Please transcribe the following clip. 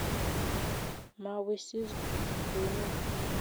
Mawisis kuno?